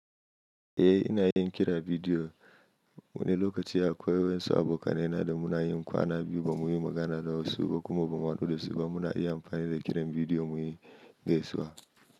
Eh ina yin kira bidiyo. Wani lokaci akwai waƴan su abokanai na da muna yin kwana biyu ba muyi magana da wasu ba kuma ba mu haɗu da su ba muna iya amfani da kiran bidiyo muyi gaisuwa.